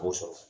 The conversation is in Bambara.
B'o sɔrɔ